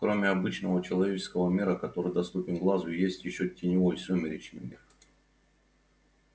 кроме обычного человеческого мира который доступен глазу есть ещё теневой сумеречный мир